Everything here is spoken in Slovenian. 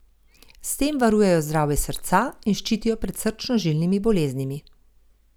S tem varujejo zdravje srca in ščitijo pred srčno žilnimi boleznimi.